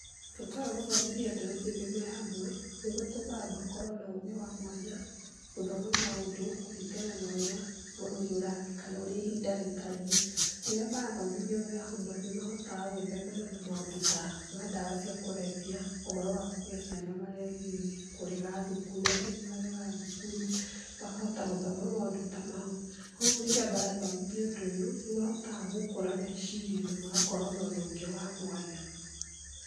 Bata wa gũthomithia mbeũ njĩthĩ me hamwe, nĩ gũtũmaga makorwo na ũgĩ wa mwanya, gũthoma maũndũ kũringana na ũria, bũrũri ũrathii kana ũrĩa ihinda rĩtariĩ. Rĩrĩa marathomithio me hamwe nĩmahotaga gwĩthema na maũndũ ta ndawa cia kũrevya, ũhoro wa kũgĩa ciana marĩ anini, kũrega thukuru angĩ nĩmaregaga thukuru, makahota gũthoma maũndũ ta mau. Kwoguo rĩrĩa marathomithio ũndũ ũyũ nĩmahotaga gũkũra meciria na magakorwo na ũndũ ũngĩ wa mwanya.